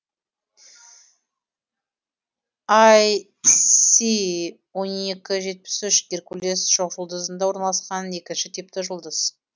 іс он екі жетпіс үш геркулес шоқжұлдызында орналасқан екінші типті жұлдыз